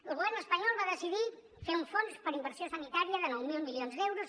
el govern espanyol va decidir fer un fons per a inversió sanitària de nou mil milions d’euros